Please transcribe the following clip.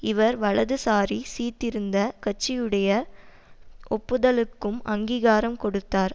இவர் வலதுசாரி சீர்திருந்த கட்சியுடைய ஒப்புதலுக்கும் அங்கீகாரம் கொடுத்தார்